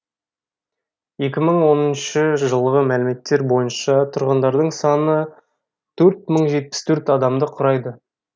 екі мың оныншы жылғы мәліметтер бойынша тұрғындарының саны төрт мың жетпіс төрт адамды құрайды